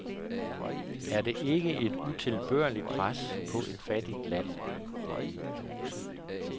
Er det ikke et utilbørligt pres på et fattigt land.